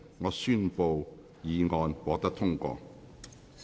我宣布議案獲得通過。